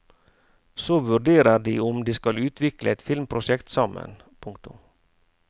Så vurderer de om de skal utvikle et filmprosjekt sammen. punktum